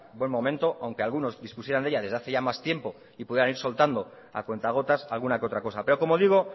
buen momento aunque algunos dispusieran de ella desde hace ya más tiempo y puedan ir soltando a cuenta gotas alguna otra cosa pero como digo